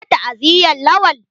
Ka je ta'aziyan Lawan?